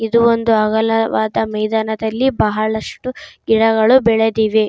ಇದು ಒಂದು ಅಗಲವಾದ ಮೈದಾನದಲ್ಲಿ ಬಹಳಷ್ಟು ಗಿಡಗಳು ಬೆಳೆದಿವೆ.